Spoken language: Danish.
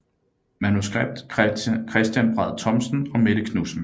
Manuskript Christian Braad Thomsen og Mette Knudsen